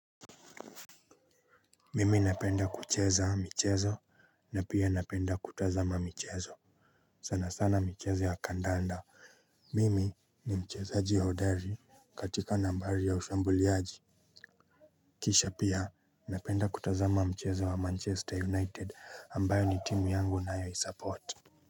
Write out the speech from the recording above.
Mimi napenda kucheza michezo. Na pia napenda kutazama michezo. Sana sana michezo ya kandanda. Mimi ni mchezaji hodari katika nambari ya ushambuliaji. Kisha pia napenda kutazama mchezo wa manchester united ambayo ni timu yangu nayoisupport.